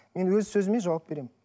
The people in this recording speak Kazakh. мен өз сөзіме жауап беремін